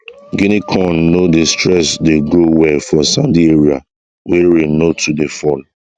guinea corn no dey stress dey grow well for sandy area wey rain no too dey fall